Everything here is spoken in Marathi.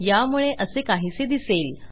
यामुळे असे काहीसे दिसेल